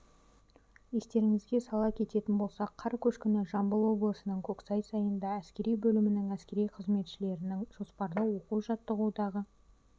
естеріңізге сала кететін болсақ қар көшкіні жамбыл облысының көксай сайында әскери бөлімінің әскери қызметшілерінің жоспарлы оқу-жаттығудағы